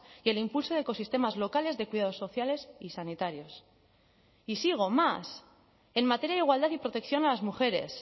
y el impulso de ecosistemas locales de cuidados sociales y sanitarios y sigo más en materia de igualdad y protección a las mujeres